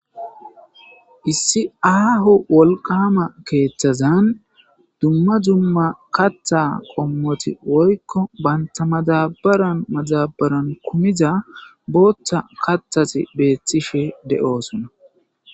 issi aahu wolqama keeththazan dumma dumma katha qommoti woykko bantamadabaran maxabaran kumiza booththa katthasi beeththife de7oosona